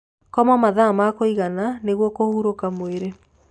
Koma mathaa ma kuigana nĩguo kũhũrũka mwĩrĩ